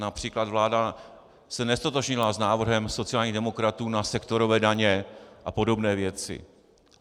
Například vláda se neztotožnila s návrhem sociálních demokratů na sektorové daně a podobné věci.